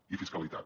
i fiscalitat